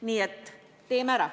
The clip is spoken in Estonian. Nii et teeme ära.